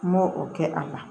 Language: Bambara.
N m'o o kɛ a la